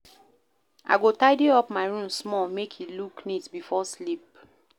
I go tidy up my room small make e look neat before sleep.